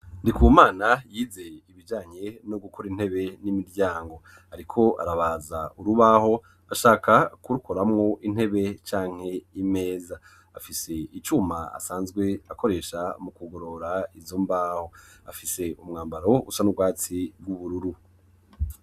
Ndikumana yize ibijanye no gukora intebe n'imiryango. Ariko arabaza urubaho ashaka kurukoramwo intebe cyanke imeza, afise icyuma asanzwe akoresha mu kugorora izo mbaho, afise umwambaro usa n'ugwatsi rw'ubururu.